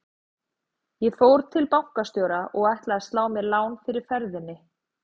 Ég fór til bankastjóra og ætlaði að slá mér lán fyrir ferðinni.